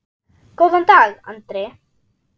Góðan dag, Andri!